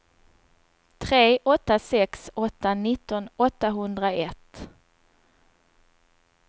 tre åtta sex åtta nitton åttahundraett